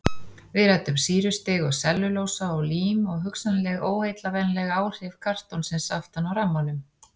Við ræddum sýrustig og sellulósa og lím og hugsanleg óheillavænleg áhrif kartonsins aftan á rammanum.